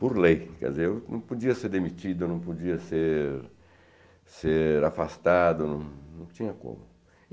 Por lei, quer dizer, eu não podia ser demitido, eu não podia ser ser afastado, não não tinha como.